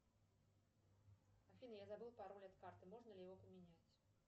афина я забыла пароль от карты можно ли его поменять